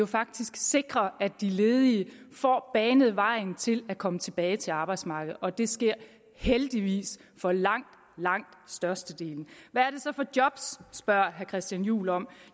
faktisk sikrer at de ledige får banet vejen til at komme tilbage til arbejdsmarkedet og det sker heldigvis for langt langt størstedelen hvad er det så for job spørger herre christian juhl om